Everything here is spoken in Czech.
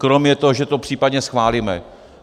Kromě toho, že to případně schválíme.